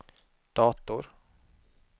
dator